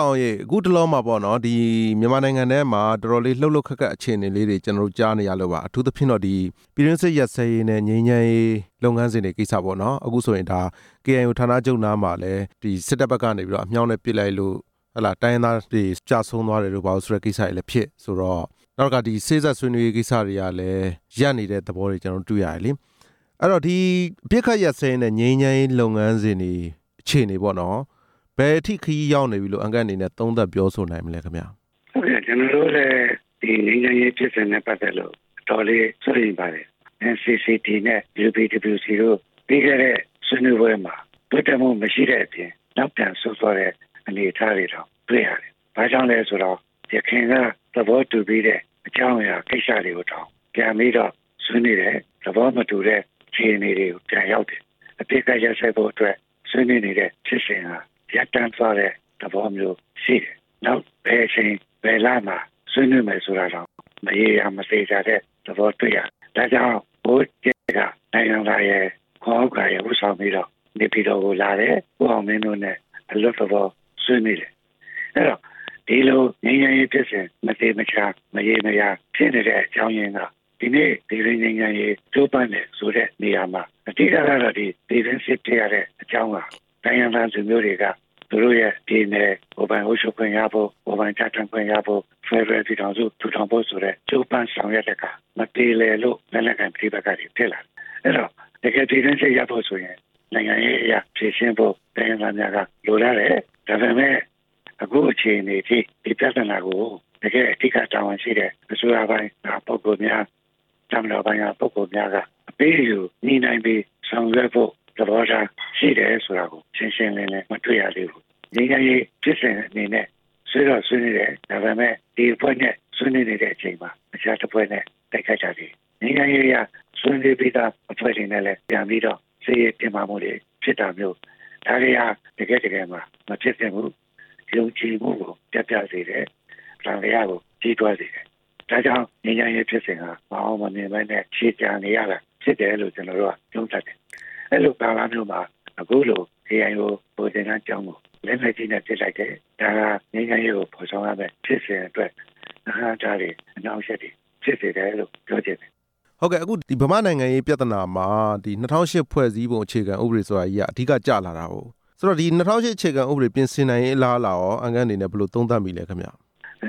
ောင်ရေ အခုတလောမှာပေါ့နော်၊ မြန်မာနိုင်ငံထဲမှာ တော်တော်လေးလှှုပ်လှှုပ်ခတ်ခတ် အခြေအနေလေးတွေ ကျနော်တို့ ကြားနေရလို့ပါ၊ အထူးသဖြင့်တော့ ပြည်တွင်းစစ်ရပ်စဲရေးနဲ့ ငြိမ်းချမ်းရေးလုပ်ငန်းစဉ်တွေကိစ္စပေါ့နော်၊ အခုဆိုရင် KIO ဌာနချုပ်နားမှာ စစ်တပ်ဘက်ကနေပြီးတော့ အမြောက်နဲ့ပစ်လိုက်လို့ တိုင်းရင်းသားတွေ ကျဆုံးသွားတယ်ဆိုတဲ့ ကိစ္စတွေလည်းဖြစ်ဆိုတော့ နောက်တစ်ခါ ဒီစေ့စပ်ဆွေးနွေးရေးကိစ္စတွေကလည်း ရပ်နေတဲ့သဘောတွေ ကျနော်တို့ တွေ့ရတယ်လေ၊ အဲ့ဒီတော့ ဒီအပစ်အခတ်ရပ်စဲရေးနဲ့ ငြိမ်းချမ်းရေးလုပ်ငန်စဉ်တွေကို ဒီအခြေအနေကိုပေါ့နော် ဘယ်အထိရောက်နေပြီလို့ အန်ကယ်လ်အနေနဲ့ သုံးသပ်ပြောဆိုနိုင်မလဲ ခင်ဗျ။ ဟုတ်ကဲ့ ကျနော်တို့အနေနဲ့ ဒီငြိမ်းချမ်းရေးဖြစ်စဉ်နဲ့ ပတ်သက်လို့ အတော်လေးစိုးရိမ်ပါတယ်၊ NCCT နဲ့ UPWC တို့ပြီးခဲ့တဲ့ ဆွေးနွေးပွဲမှာ လက်ခံမှှုမရှိတဲ့အပြင် နောက်ပြန်ဆုတ်သွားတဲ့ အနေအထားတွေတောင် တွေ့ရတယ်၊ ဘာကြောင့်လဲဆိုတော့ ယခင်က သဘောတူပြီးတဲ့အကြောင်းအရာ ကိစ္စကိုတောင်ပြန်ပြီးတော့ ဆွေးနွေးတယ်၊ သဘောမတူတဲ့ အခြေအနေတွေကို ပြန်ရောက်တယ်၊ အပစ်အခတ်ရပ်စဲဖို့အတွက် ဆွေးနွေးနေတဲ့ဖြစ်စဉ်ဟာ ရပ်တန့်သွားတဲ့သဘောမျိုးရှိတယ်၊ နောက်ဘယ်အချိန် ဘယ်လမှာဆွေးနွေးမယ်ဆိုတာတောင် မရေရာမသေချာတဲ့သဘောတွေ့ရတယ်၊ ဒါကြောင့် နိုင်ဟံသာရယ်၊ ခွန်ဥက္ကာရယ် ဦးဆောင်ပြီးတော့ နေပြည်တော်ကိုလာတယ်၊ ဦးအောင်မင်းတို့နဲ့ အလွတ်သဘောဆွေးနွေးတယ်၊ အဲ့ဒီတော့ ဒီလိုငြိမ်းချမ်းရေးဖြစ်စဉ် မသေမချာ မရေမရာဖြစ်နေတဲ့အကြောင်းရင်းက ဒီနေ့ပြည်တွင်းငြိမ်းချမ်းရေး ကြိုးပမ်းတယ်ဆိုတဲ့နေရာမှာ အဓိကကတော့ ပြည်တွင်းစစ်ဖြစ်ရတဲ့အကြောင်းဟာ တိုင်းရင်းသားလူမျိုးတွေက သူတို့ရဲ့ပြည်နယ် ကိုယ်ပိုင်အုပ်ချုပ်ခွင့်ရဖို့ ကိုယ်ပိုင်ပြဌါန်းခွင့်ရဖို့ ဖက်ဒရယ်ပြည်ထောင်စု ထူထောင်ဖို့ဆိုတဲ့ ကြိုးပမ်းဆောင်ရွက်တဲ့အခါ မပြေလည်လို့ လက်နက်ကိုင် ပဋိပက္ခတွေဖြစ်လာတယ်၊ အဲ့ဒီတော့ တကယ်ပြည်တွင်းစစ်ရပ်ဖို့ဆိုရင် နိုင်ငံရေးအရဖြေရှင်းဖို့ တိုင်းရင်းသားများက လိုလားတယ်၊ ဒါပေမဲ့ အခုအခြေအနေအထိ ဒီပြဿနာကို တကယ့်အဓိကတာဝန်ရှိတဲ့ အစိုးရပိုင်းကပုဂ္ဂိုလ်များ၊ တပ်မတော်ပိုင်းက ပုဂ္ဂိုလ်များက အပေးအယူညှိနှှိုင်းပြီး ဆောင်ရွက်ဖို့သဘောထား ရှိတယ်ဆိုတာကို ရှင်းရှင်းလင်းလင်း မတွေ့ရသေးဘူး၊ ငြိမ်းချမ်းဖြစ်စဉ်အနေနဲ့ ဆွေးတော့ဆွေးနွေးတယ်၊ ဒါပေမဲ့ ဒီအဖွဲနဲ့ ဆွေးနွေးနေတဲ့အချိန်မှာ တခြားတစ်ဖွဲ့နဲ့ တိုက်ခိုက်တာတွေ ငြိမ်းချမ်းရေးအရ ဆွေးနွေးပြီးသားအဖွဲ့တွေနဲ့လည်း ပြန်ပြီးတော့ စစ်ရေးတင်းမာမှှုတွေဖြစ်တာမျိုး ဒါတွေဟာ တကယ့်တကယ်မှာမဖြစ်သင့်ဘူး၊ ယုံကြည်မှှုကို ပျက်ပြားစေတယ်၊ သံသယကိုကြီးထွားစေတယ်၊ ဒါကြောင့် ငြိမ်းချမ်းရေးဖြစ်စဉ်ဟာ မအောင်မမြင်ပဲနဲ့ ရှည်ကြာနေရတာဖြစ်တယ်လို့ ကျနော်တို့က သုံးသပ်တယ်၊ အဲ့ဒီၤလိုကဏ္ဍမျိုးမှာ အခုလို KIO ဗိုလ်သင်တန်းကျောင်းကို လက်နက်ကြီးနဲ့ ပစ်လိုက်တယ်၊ ဒါဟာငြိမ်းချမ်းရေးကို မဆောင်ရွက်ပဲဖြစ်စဉ်အတွက် အဟန့်အတားတွေ အနှောင့်အယှက်တွေဖြစ်စေတယ်လို့ ပြောချင်တယ်။ ဟုတ်ကဲ့ အခုမြန်မာ့နိုင်ငံရေးပြဿနာမှာ ၂ဝဝ၈ ဖွဲ့စည်းပုံ အခြခံဥပဒေဆိုတာကြီးက အဓိကကျလာတာကို ဆိုတော့ ၂ဝဝ၈ ဖွဲ့စည်းပုံအခြခံဥပဒေ ပြင်ဆင်နိုင်ရေး အလားအလာကော အန်ကယ်လ်အနေနဲ့ ဘယ်လိုသုံးသပ်မိလဲခင်ဗျ။ ၂ဝ